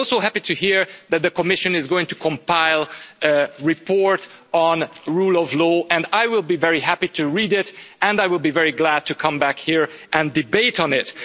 I'm also happy to hear that the Commission is going to compile a report on rule of law and I will be very happy to read it and I will be very glad to come back here and debate it.